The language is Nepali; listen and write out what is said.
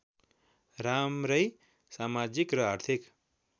राम्रै समाजिक र आर्थिक